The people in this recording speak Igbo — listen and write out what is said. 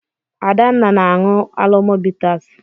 Adanna na-aṅụ Alomo bitas.